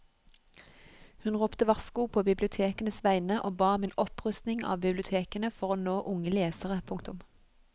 Hun ropte varsko på bibliotekenes vegne og ba om en opprustning av bibliotekene for å nå unge lesere. punktum